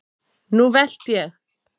Nú velt ég!